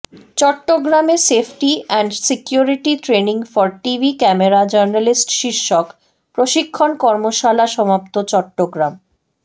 চট্টগ্রামে safety and security training for TV camera journalist শীর্ষক প্রশিক্ষণ কর্মশালা সমাপ্ত চট্টগ্রাম